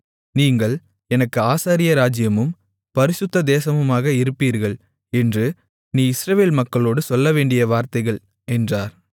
நீங்கள் எனக்கு ஆசாரிய ராஜ்ஜியமும் பரிசுத்த தேசமுமாக இருப்பீர்கள் என்று நீ இஸ்ரவேல் மக்களோடு சொல்லவேண்டிய வார்த்தைகள் என்றார்